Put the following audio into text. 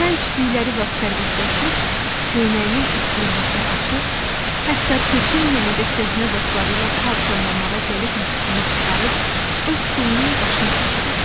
Çay içdikləri vaxt sərbəstləşir, köynəyinin üst düyməsini açır, hətta peçenyeni də köhnə dostları ilə kart oynamağa gəlibmiş kimi çıxarıb öz stolunun başına keçirirdi.